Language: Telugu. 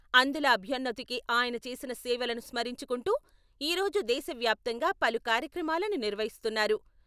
అంధుల అభ్యన్నతికి ఆయన చేసిన సేవలను స్మరించుకుంటూ ఈ రోజు దేశవ్యాప్తంగా పలు కార్యక్రమాలను నిర్వహిస్తున్నారు.